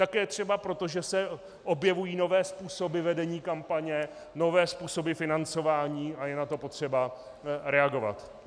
Také třeba proto, že se objevují nové způsoby vedení kampaně, nové způsoby financování a je na to potřeba reagovat.